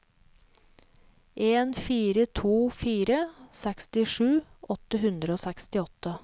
en fire to fire sekstisju åtte hundre og sekstiåtte